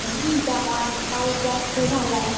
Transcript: पाऊस जास्त झालाय.